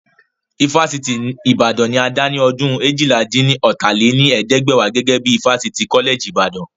Ifásitì ti Ìbàdàn ni a dá ní ọdún eéjìlá-dín-ní-ọ́ta lé ní ẹ̀ẹ́dẹ́gbẹ́wá gẹ́gẹ́ bí ifásitì kọ́lẹ̀jì Ìbàdàn